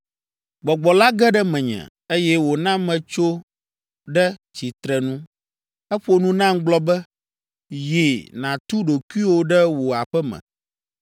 Gbɔgbɔ la ge ɖe menye, eye wòna metso ɖe tsitrenu. Eƒo nu nam gblɔ be, “Yi, nàtu ɖokuiwo ɖe wò aƒe me.